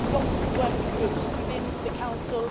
We had lots of working groups within the Council.